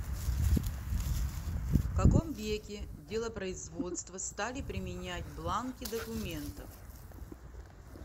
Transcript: в каком веке делопроизводство стали применять бланки документов